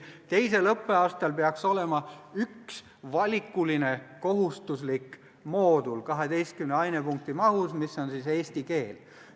Teisel õppeaastal peaks olema üks valikuline kohustuslik moodul 12 ainepunkti mahus, mis on eesti keel.